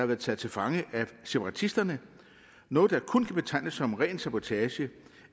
været taget til fange af separatisterne noget der kun kan betegnes som ren sabotage